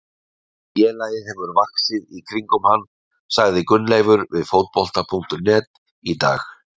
Félagið hefur vaxið í kringum hann, sagði Gunnleifur við Fótbolta.net í dag.